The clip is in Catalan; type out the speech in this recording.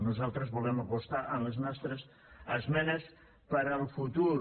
nosaltres volem apostar en les nostres esmenes per al futur